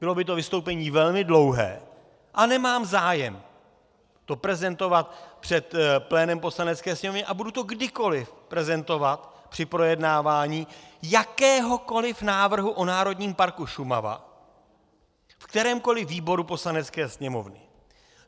Bylo by to vystoupení velmi dlouhé a nemám zájem to prezentovat před plénem Poslanecké sněmovny a budu to kdykoliv prezentovat při projednávání jakéhokoliv návrhu o Národním parku Šumava v kterémkoliv výboru Poslanecké sněmovny.